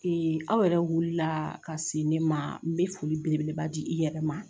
Ee aw yɛrɛ wulila la ka se ne ma n bɛ foli belebeleba di i yɛrɛ ma